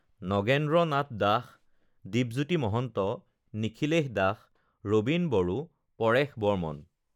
Nagendra Nath Das, Dipjyoti Mahanta, Nikhilesh Das, Rabin Boro, Paresh Barman